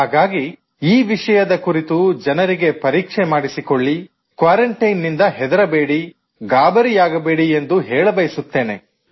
ಹಾಗಾಗಿ ಈ ವಿಷಯದ ಕುರಿತು ಜನರಿಗೆ ಪರೀಕ್ಷೆ ಮಾಡಿಸಿಕೊಳ್ಳಿ ಕ್ವಾರಂಟೈನ್ ನಿಂದ ಹೆದರಬೇಡಿ ಗಾಬರಿಯಾಗಬೇಡಿ ಎಂದು ಹೇಳಬಯಸುತ್ತೇನೆ